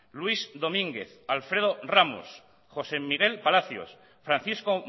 luis domínguez alfredo ramos josé miguel palacios francisco